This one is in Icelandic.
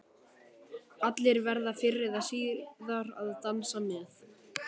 Allir verða fyrr eða síðar að dansa með.